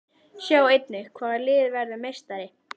Sjá einnig: Hvaða lið verður meistari?